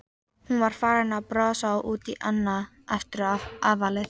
Hún var farin að brosa út í annað eftir áfallið.